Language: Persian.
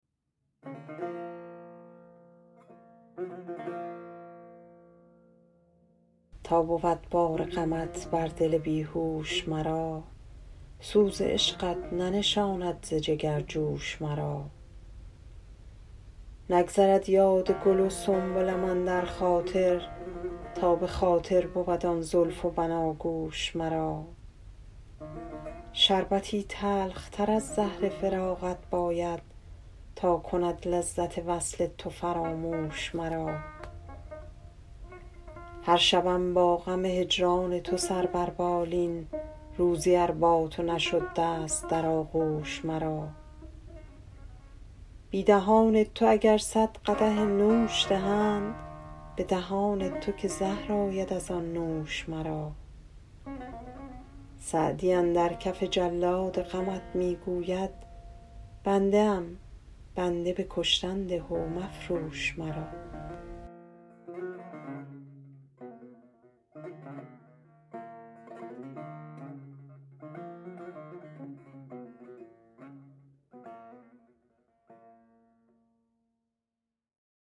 تا بود بار غمت بر دل بی هوش مرا سوز عشقت ننشاند ز جگر جوش مرا نگذرد یاد گل و سنبلم اندر خاطر تا به خاطر بود آن زلف و بناگوش مرا شربتی تلختر از زهر فراقت باید تا کند لذت وصل تو فراموش مرا هر شبم با غم هجران تو سر بر بالین روزی ار با تو نشد دست در آغوش مرا بی دهان تو اگر صد قدح نوش دهند به دهان تو که زهر آید از آن نوش مرا سعدی اندر کف جلاد غمت می گوید بنده ام بنده به کشتن ده و مفروش مرا